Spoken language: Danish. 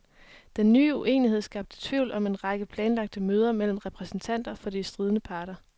Den nye uenighed skabte tvivl om en række planlagte møder mellem repræsentanter for de stridende parter.